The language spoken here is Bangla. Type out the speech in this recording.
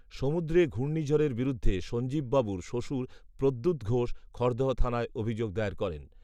সমুদ্রে ঘূর্ণীঝড়ের বিরুদ্ধে সঞ্জীববাবুর শ্বশুর প্রদ্যোৎ ঘোষ খড়দহ থানায় অভিযোগ দায়ের করেন